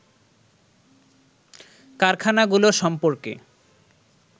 কারখানাগুলো সম্পর্কে